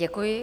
Děkuji.